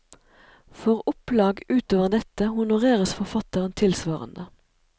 For opplag utover dette honoreres forfatteren tilsvarende.